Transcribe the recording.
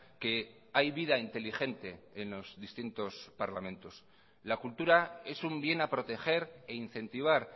que hay vida inteligente en los distintos parlamentos la cultura es un bien a proteger e incentivar